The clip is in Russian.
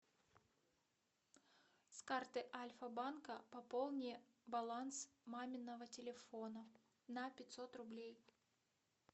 с карты альфа банка пополни баланс маминого телефона на пятьсот рублей